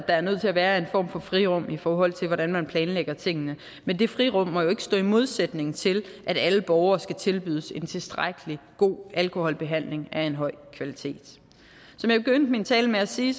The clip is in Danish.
er nødt til at være en form for frirum i forhold til hvordan man planlægger tingene men det frirum må jo ikke stå i modsætning til at alle borgere skal tilbydes en tilstrækkelig god alkoholbehandling af en høj kvalitet som jeg begyndte min tale med at sige